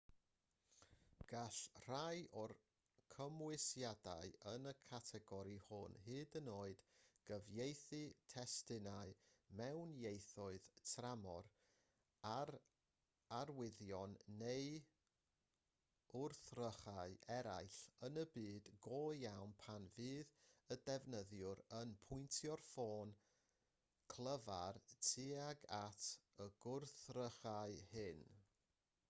gall rhai o'r cymwysiadau yn y categori hwn hyd yn oed gyfieithu testunau mewn ieithoedd tramor ar arwyddion neu wrthrychau eraill yn y byd go iawn pan fydd y defnyddiwr yn pwyntio'r ffôn clyfar tuag at y gwrthrychau hyn